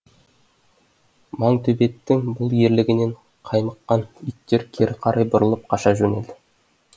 маңтөбеттің бұл ерлігінен қаймыққан иттер кері қарай бұрылып қаша жөнелді